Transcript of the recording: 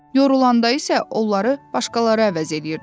Yorulanda isə onları başqaları əvəz eləyirdilər.